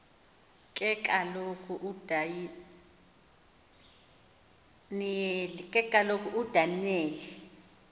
ke kaloku udaniyeli